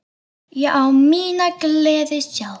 Ég á mína gleði sjálf.